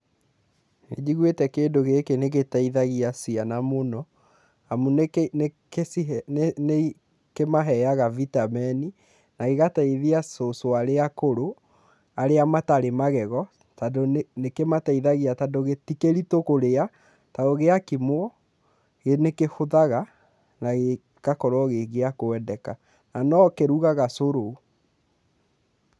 Nĩ njiguĩte kĩndũ gĩkĩ nĩ gĩteithagia ciana mũno amu nĩ nĩkĩmahega bitameni na gĩgateithia cucu arĩa akũrũ arĩa matarĩ magego tondũ nĩ kĩmateithagia tondũ ti kĩritũ kũrĩa to gwĩkimwo nĩ kĩhũthaga na gĩgakorwo gĩ gĩa kwendeka, na no kĩrugaga cũrũ.